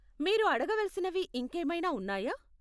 మీరు అడగవలసినవి ఇంకేమైనా ఉన్నాయా?